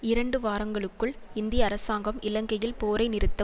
இரண்டு வாரங்களுக்குள் இந்திய அரசாங்கம் இலங்கையில் போரை நிறுத்த